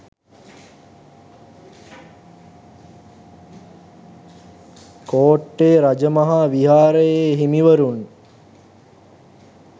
කෝට්‌ටේ රජමහා විහාරයේ හිමිවරුන්